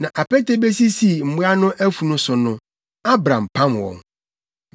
Na apete besisii mmoa no afunu so no, Abram pam wɔn.